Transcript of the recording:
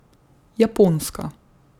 Japonska ...